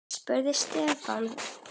spurði Stefán.